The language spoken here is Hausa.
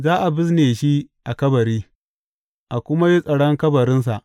Za a bizne shi a kabari, a kuma yi tsaron kabarinsa.